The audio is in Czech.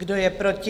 Kdo je proti?